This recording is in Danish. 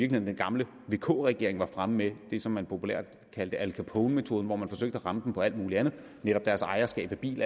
den gamle vk regering var fremme med det som man populært kaldte al capone metoden hvor man forsøgte at ramme dem på alt muligt andet netop deres ejerskab af bil